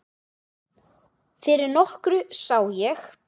Fyrir nokkru sá ég